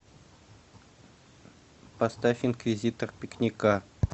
поставь инквизитор пикника